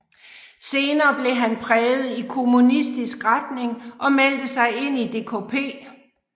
Senere blev han præget i kommunistisk retning og meldte sig ind i DKP